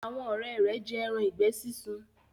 Àwọn òré rẹ jé èràn ìgbẹ sisùn.